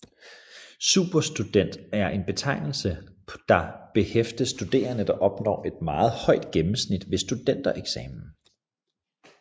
Superstudent er en betegnelse der påhæftes studerende der opnår et meget højt gennemsnit ved Studentereksamen